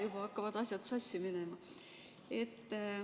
Juba hakkavad asjad sassi minema.